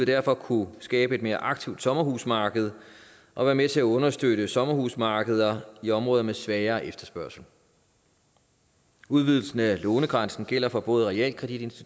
derfor kunne skabe et mere aktivt sommerhusmarked og være med til at understøtte sommerhusmarkeder i områder med svagere efterspørgsel udvidelsen af lånegrænsen gælder for både realkredit